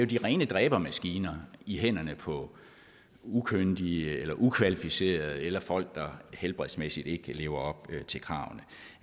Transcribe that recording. de rene dræbermaskiner i hænderne på ukyndige eller ukvalificerede eller folk der helbredsmæssigt ikke lever op til kravene